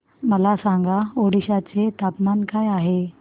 मला सांगा ओडिशा चे तापमान काय आहे